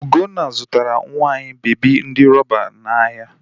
Ugonna zụtara nwa anyị bebi ndi rọba n'ahịa.